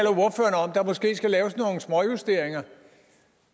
der måske skal laves nogle småjusteringer